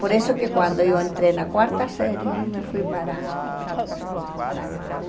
Por isso que quando eu entrei na quarta série, eu me fui para para a capital.